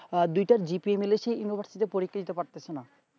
দুইটা G-Pay মাইল সেই university তে পরীক্ষা দিতে পারতেছেনা